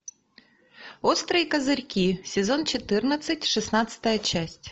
острые козырьки сезон четырнадцать шестнадцатая часть